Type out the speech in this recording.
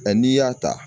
Ɛ n'i y'a ta